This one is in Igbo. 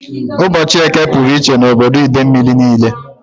Ụbọchị Eke pụrụ iche na obodo Idemili niile